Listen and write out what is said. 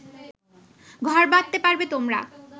ঘর বাঁধতে পারবে তোমরা